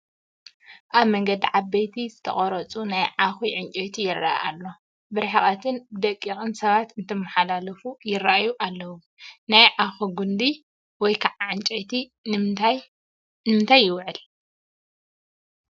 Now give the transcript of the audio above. ኣብ መንገዲ ዓበይቲ ዝተቆረፁ ናይ ዓኺ እንጨይቲ ይረአ ኣሎ፡፡ ብርሕቐትን ብደቂቕን ሰባት እንትመሓላለፉ ይራኣዩ ኣለው፡፡ ናይ ዓኺ ጉንዲ ወይ ከዓ ዕንጨይቲ ንምንታይ ይውዕል?